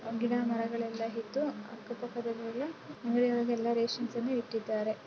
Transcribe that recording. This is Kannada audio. ಗಿಡ ಮರಗಳೆಲ್ಲ ಇದ್ದು ಅಕ್ಕ ಪಕ್ಕದಲ್ಲೆಲ್ಲ ಅಂಗಡಿ ಒಳಗೆಲ್ಲ ರೇಷನ್ಸ್ ಎಲ್ಲ ಇಟ್ಟಿದ್ದಾರೆ.